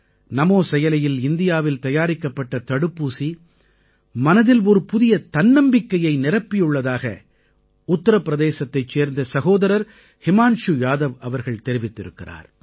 நமோ செயலியில் இந்தியாவில் தயாரிக்கப்பட்ட தடுப்பூசி மனதில் ஒரு புதிய தன்னம்பிக்கையை நிரப்பியுள்ளதாக உத்திரப்பிரதேசத்தைச் சேர்ந்த சகோதரர் ஹிமான்ஷு யாதவ் அவர்கள் தெரிவித்திருக்கிறார்